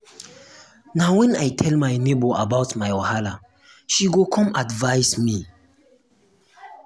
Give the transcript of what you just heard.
na wen i tell my nebor about my wahala she come give me solution.